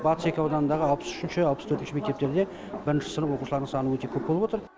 батыс екі ауданындағы алпыс үшінші алпыс төртінші мектептерде бірінші сынып оқушыларының саны өте көп болып отыр